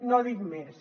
no dic més